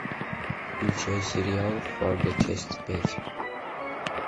включай сериал фарго часть пять